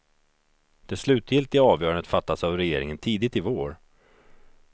Det slutgiltiga avgörandet fattas av regeringen tidigt i vår.